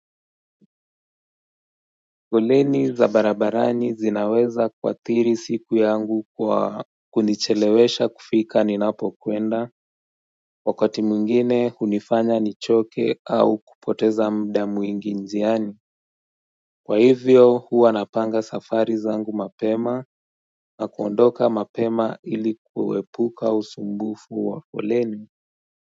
Koleni za barabarani zinaweza kuathiri siku yangu kwa kunichelewesha kufika ni napo kwenda wakati mwingine hunifanya nichoke au kupoteza mda mwingi njiani Kwa hivyo huwa napanga safari za ngu mapema na kuondoka mapema ilikuepuka usumbufu wa koleni.